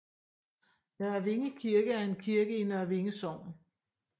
Nørre Vinge Kirke er en kirke i Nørre Vinge Sogn